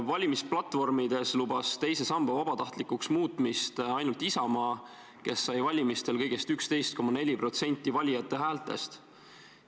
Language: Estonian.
Valimisplatvormides lubas teise samba vabatahtlikuks muutmist ainult Isamaa, kes sai valimistel kõigest 11,4% valijate häältest.